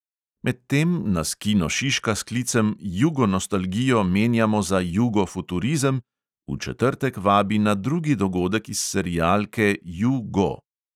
Medtem nas kino šiška s klicem "jugo nostalgijo menjamo za jugo futurizem!" v četrtek vabi na drugi dogodek iz serialke ju go!